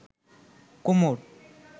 কোমর